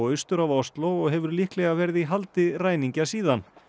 austur af Osló og hefur líklega verið í haldi ræningja síðan